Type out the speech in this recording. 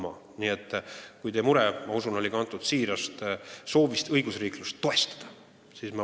Ma usun, et teie mure on kantud siirast soovist õigusriiklust toetada.